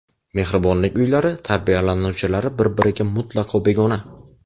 Mehribonlik uylari tarbiyalanuvchilari bir-biriga mutlaqo begona.